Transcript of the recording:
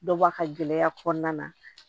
Dɔ bɔ a ka gɛlɛya kɔnɔna na